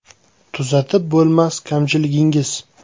Tuzatib bo‘lmas kamchiligingiz?